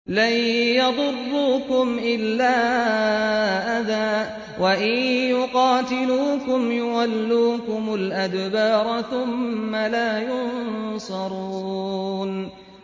لَن يَضُرُّوكُمْ إِلَّا أَذًى ۖ وَإِن يُقَاتِلُوكُمْ يُوَلُّوكُمُ الْأَدْبَارَ ثُمَّ لَا يُنصَرُونَ